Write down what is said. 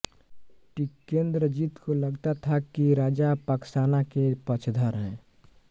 टिकेंद्रजीत को लगता था कि राजा पाकसाना के पक्षधर हैं